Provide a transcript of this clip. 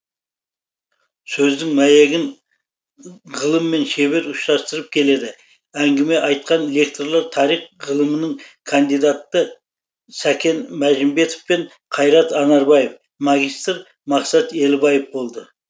сөздің мәйегін ғылыммен шебер ұштастырып келеді әңгіме айтқан лекторлар тарих ғылымының кандидаты сәкен мәжімбетов пен қайрат анарбаев магистр мақсат елібаев болды